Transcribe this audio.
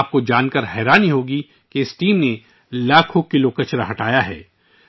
آپ کو یہ جان کر حیرت ہوگی کہ اس ٹیم نے لاکھوں کلو کچرا صاف کیا ہے